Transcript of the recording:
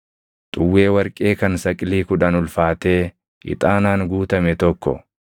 xuwwee warqee kan saqilii kudhan ulfaatee ixaanaan guutame tokko,